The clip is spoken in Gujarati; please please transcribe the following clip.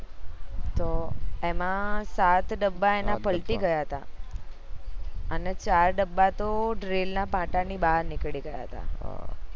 તો એમાં સાત ડબ્બા પલટી ગયા હતા અને ચાર ડબ્બા તો rail ના પાટા ની બાર નીકળી ગયા હતા